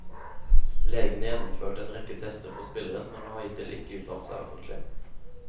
Legene gjennomførte en rekke tester på spilleren, men har hittil ikke uttalt seg offentlig.